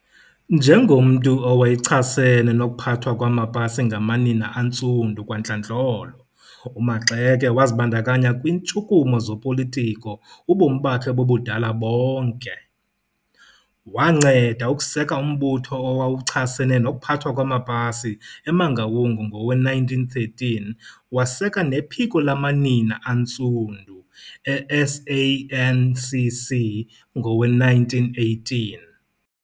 Njengomntu owayechasene nokuphathwa kwamapasi ngamanina aNtsundu kwantlandlo, uMaxeke wazibandakanya kwintshukumo zopolitiko ubomi bakhe bobudala bonke. Wanceda ukuseka umbutho owayechasene nokuphathwa kwamapasi eMangaun ngowe-1913 waseka nePhiko laManina aNtsundu eSANCC ngowe-1918.